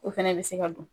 O fɛnɛ bɛ se ka don